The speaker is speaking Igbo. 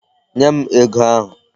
Nye m ego ahụ.